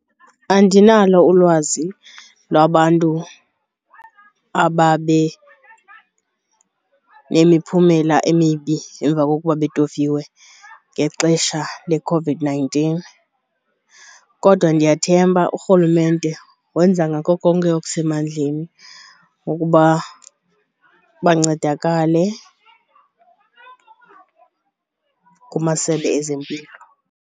Andinalo ulwazi lwabantu ababe nemiphumela emibi emva kokuba betofiwe ngexesha leCOVID-nineteen kodwa ndiyathemba urhulumente wenza ngako konke okusemandleni wokuba bancedakale kumasebe ezempilo.